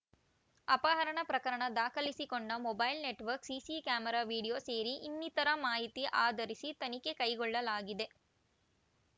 ಅಪಹರಣ ಪ್ರಕರಣ ದಾಖಲಿಸಿಕೊಂಡ mobile network CC camera video ಸೇರಿ ಇನ್ನಿತರ ಮಾಹಿತಿ ಆಧರಿಸಿ ತನಿಖೆ ಕೈಗೊಳ್ಳಲಾಗಿದೆ